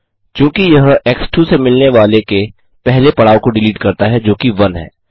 चूँकि यह x2 से मिलने वाले के पहले पड़ाव को डिलीट करता है जोकि 1 है